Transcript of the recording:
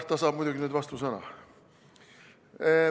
Ta saab muidugi nüüd vastusõna.